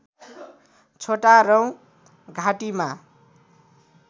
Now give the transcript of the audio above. छोटा रौँ घाँटीमा